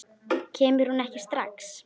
Kemur hún ekki strax?